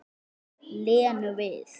Lenu við.